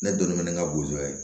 Ne donnen bɛ ne ka bozo ye